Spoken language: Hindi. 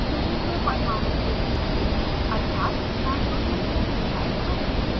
चुने हुए परमाणु को बदलते हैं अर्थात नाइट्रोजन को मिथायल ग्रुप में